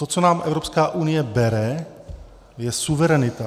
To, co nám Evropská unie bere, je suverenita.